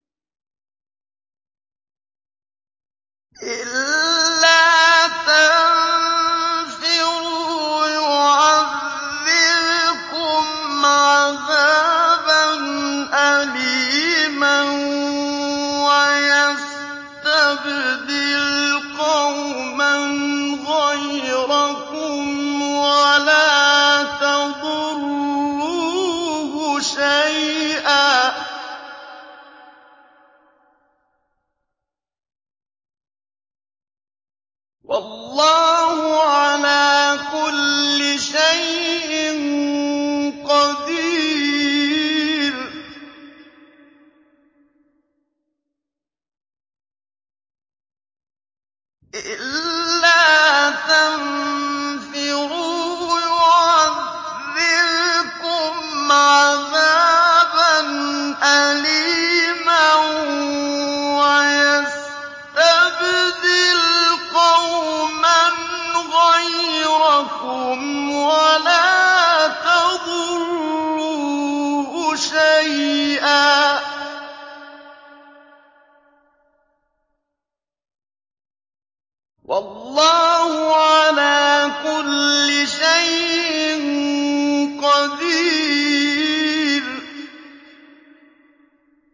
إِلَّا تَنفِرُوا يُعَذِّبْكُمْ عَذَابًا أَلِيمًا وَيَسْتَبْدِلْ قَوْمًا غَيْرَكُمْ وَلَا تَضُرُّوهُ شَيْئًا ۗ وَاللَّهُ عَلَىٰ كُلِّ شَيْءٍ قَدِيرٌ